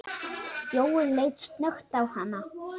Jóel leit snöggt á hana.